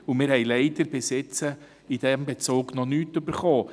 Leider haben wir aber diesbezüglich noch nichts erhalten.